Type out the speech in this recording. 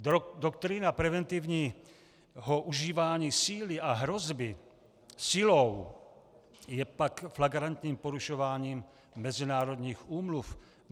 Doktrína preventivního užívání síly a hrozby silou je pak flagrantním porušováním mezinárodních úmluv.